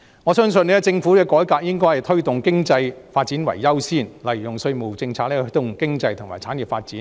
我相信政府的改革應以推動經濟發展為優先，例如利用稅務政策來推動經濟及產業發展。